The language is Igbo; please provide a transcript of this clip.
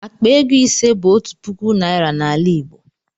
Akpa ego ise bụ otu puku naịra n'ala igbo